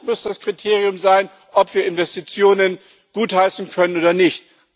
Das muss das Kriterium sein, ob wir Investitionen gutheißen können oder nicht.